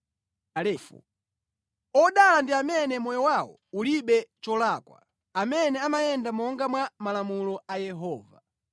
Odala ndi amene moyo wawo ulibe cholakwa, amene amayenda monga mwa malamulo a Yehova.